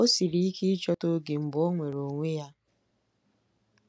O siri ike ịchọta oge mgbe ọ nwere onwe ya